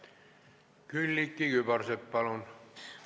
Külliki Kübarsepp, palun!